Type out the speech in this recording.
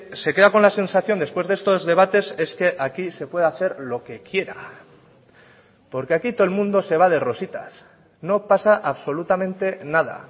se queda con la sensación después de estos debates es que aquí se puede hacer lo que quiera porque aquí todo el mundo se va de rositas no pasa absolutamente nada